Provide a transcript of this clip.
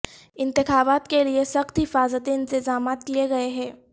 انتخابات کے لئیے سخت حفاظتی انتظامات کیے گئے ہیں